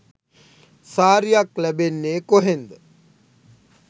සාරියක් ලැබෙන්නේ කොහෙන්ද?